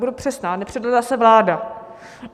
Budu přesná, nepředvedla se vláda.